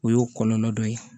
O y'o kɔlɔlɔ dɔ ye